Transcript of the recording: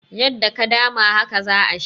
Yadda ka dama, haka za a sha.